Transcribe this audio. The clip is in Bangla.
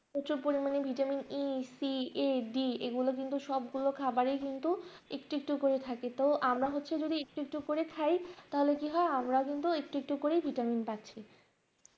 প্রচুর পরিমাণে Vitamin a c a d এগুলো কিন্তু সবগুলো খাবার এই কিন্তু একটু একটু করে থাকে তো আমরা হচ্ছে যদি একটু একটু করে খাই তাহলে কি হয় আমরা কিন্তু একটু একটু করেই ভিটামিন পাচ্ছি